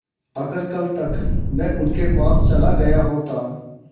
अगर कल तक में उनके पास चला गया होता